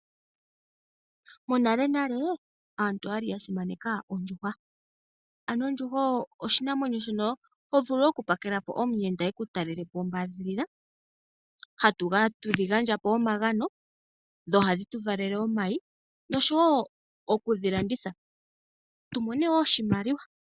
Monalenale aantu oya li yasimaneka ondjuhwa. Ano ondjuhwa oyo oshinamwenyo ho vulu oku telekela omuyenda eku talelepo ombaadhilila, hatu dhi gandja po omagano dho ohadhi tu valele omayi noshowo oku dhilanditha tumone wo oshimaliwa.